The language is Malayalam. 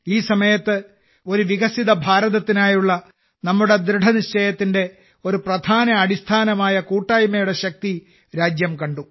ഈ സമയത്ത് ഒരു വികസിത ഭാരതത്തിനായുള്ള നമ്മുടെ ദൃഢനിശ്ചയത്തിന്റെ ഒരു പ്രധാന അടിസ്ഥാനമായ കൂട്ടായ്മയുടെ ശക്തി രാജ്യം കണ്ടു